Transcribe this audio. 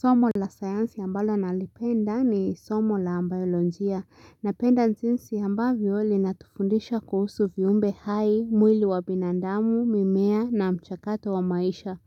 Somo la sayansi ambalo nalipenda ni somo la baiolojia. Napenda jinsi ambavyo linatufundisha kuhusu viumbe hai, mwili wa binandamu, mimea na mchakato wa maisha.